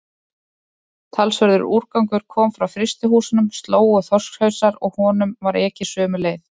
Talsverður úrgangur kom frá frystihúsunum, slóg og þorskhausar, og honum var ekið sömu leið.